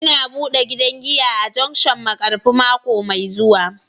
Ina bude gidan giya a junction Markafi mako mai zuwa